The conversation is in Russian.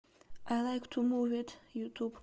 ай лайк ту мув ит ютуб